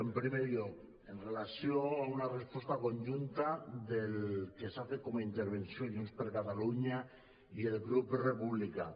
en primer lloc amb relació a una resposta conjunta que s’ha fet com a intervenció junts per catalunya i el grup republicà